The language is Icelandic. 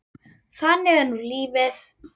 Þannig er nú lífið.